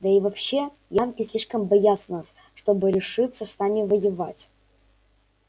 да и вообще янки слишком боятся нас чтобы решиться с нами воевать